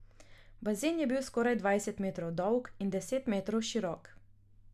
Bazen je bil skoraj dvajset metrov dolg in deset metrov širok.